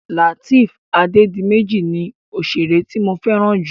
Lateef Adédiméjì ni òṣèré tí mo fẹ́ràn jù.